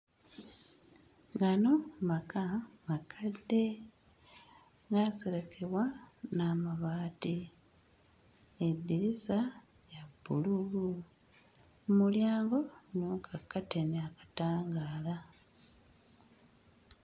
Gano maka makadde gaaserekebwa n'amabaati eddirisa lya bbululu mmulyango mu kakkateni akatangaala.